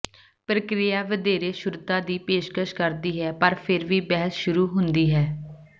ਪ੍ਰਕਿਰਿਆ ਵਧੇਰੇ ਸ਼ੁੱਧਤਾ ਦੀ ਪੇਸ਼ਕਸ਼ ਕਰਦੀ ਹੈ ਪਰ ਫਿਰ ਵੀ ਬਹਿਸ ਸ਼ੁਰੂ ਹੁੰਦੀ ਹੈ